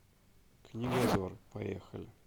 книгозор поехали